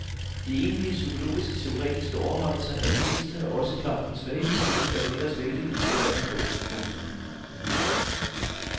De egentlig psykologiskteoretiske overvejelser er den mindste og også klart den svageste del af den ellers vældigt inspirerende bog. punktum